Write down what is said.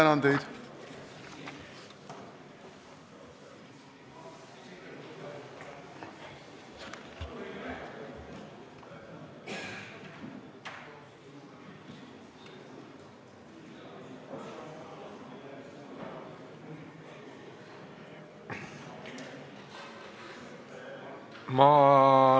Ma tänan teid!